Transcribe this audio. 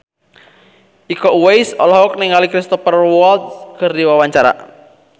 Iko Uwais olohok ningali Cristhoper Waltz keur diwawancara